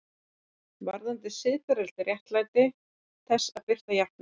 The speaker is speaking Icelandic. Varðandi siðferðilegt réttmæti þess að birta játningar